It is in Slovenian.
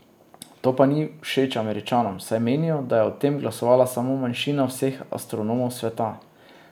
To pa ni všeč Američanom, saj menijo, da je o tem glasovala samo manjšina vseh astronomov sveta ...